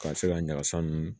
Ka se ka ɲagasa nunnu